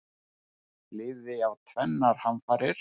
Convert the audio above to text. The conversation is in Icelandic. Lifði af tvennar hamfarir